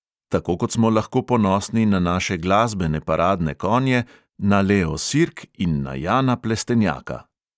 Tako kot smo lahko ponosni na naše glasbene paradne konje, na leo sirk in na jana plestenjaka!